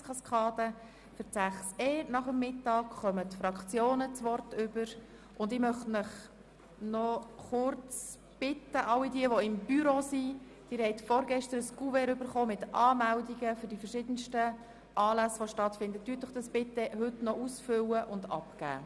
All jene, die dem Büro angehören, möchte ich bitten, die Anmeldungen für die verschiedenen Anlässe, die sie vorgestern bekommen haben, heute noch auszufüllen und abzugeben.